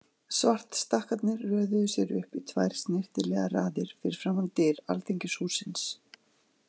Svartstakkarnir röðuðu sér upp í tvær snyrtilegar raðir fyrir framan dyr Alþingishússins.